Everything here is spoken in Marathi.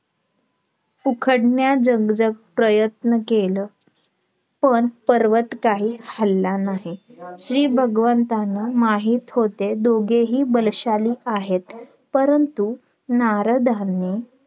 उखडण्यास जग जग प्रयन्त केलं पण पर्वत काही हलला नाही श्री भगवंतांना माहित होते दोघेही बलशाली आहेत परंतु नारदांनी